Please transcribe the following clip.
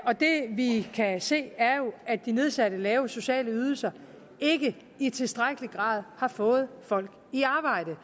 og det vi kan se er jo at de nedsatte lave sociale ydelser ikke i tilstrækkelig grad har fået folk i arbejde